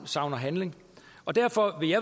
savner handling derfor vil i